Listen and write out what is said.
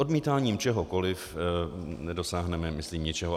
Odmítáním čehokoliv nedosáhneme myslím ničeho.